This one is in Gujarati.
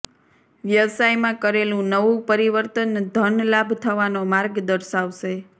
વ્યવસાયમાં કરેલું નવું પરિવર્તન ધન લાભ થવાનો માર્ગ દર્શાવશે